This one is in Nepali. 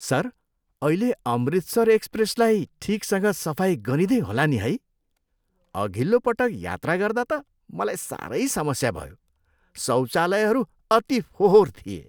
सर, अहिले अमृतसर एक्सप्रेसलाई ठिकसँग सफाइ गरिँदै होला नि है? अघिल्लो पटक यात्रा गर्दा त मलाई साह्रै समस्या भयो। शौचालयहरू अति फोहोर थिए!